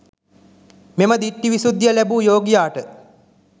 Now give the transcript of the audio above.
මෙම දිට්ඨි විසුද්ධිය ලැබූ යෝගියාට